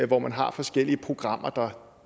hvor man har forskellige programmer der